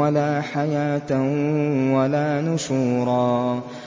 وَلَا حَيَاةً وَلَا نُشُورًا